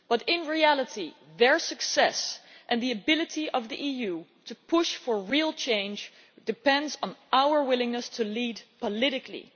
In reality, their success and the ability of the EU to push for real change depends on our willingness to lead politically.